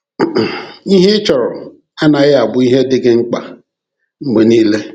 Ihe ị chọrọ anaghị abụ ihe dị gị um mkpa mgbe niile!